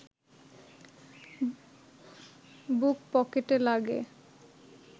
বুক পকেটে লাগে